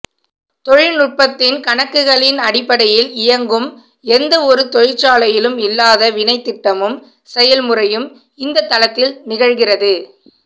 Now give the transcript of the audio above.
தொழில்நுட்பத்தின் கணக்குகளின் அடிப்படையில் இயங்கும் எந்த ஒரு தொழிற்சாலையிலும் இல்லாத வினைத்திட்டமும் செயல்முறையும் இந்த தளத்தில் நிகழ்கிறது